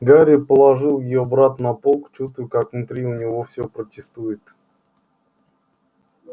гарри положил её обратно на полку чувствуя как внутри у него все протестует